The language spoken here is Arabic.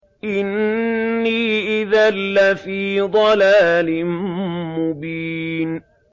إِنِّي إِذًا لَّفِي ضَلَالٍ مُّبِينٍ